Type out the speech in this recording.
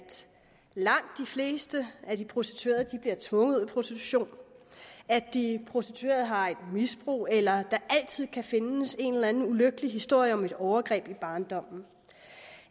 langt de fleste af de prostituerede bliver tvunget ud i prostitution at de prostituerede har et misbrug eller at der altid kan findes en eller anden ulykkelig historie om et overgreb i barndommen